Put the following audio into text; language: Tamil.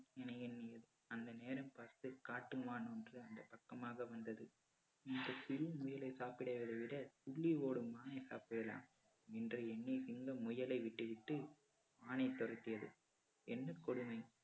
அந்த நேரம் பார்த்து காட்டுமான் ஒன்று அந்தப் பக்கமாக வந்தது. இந்த சிறு முயலை சாப்பிடுவதைவிட துள்ளி ஓடும் மானை சாப்பிடலாம் என்று எண்ணி சிங்கம் முயலை விட்டுவிட்டு மானை துரத்தியது. என்ன கொடுமை!